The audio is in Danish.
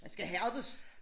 Man skal hærdes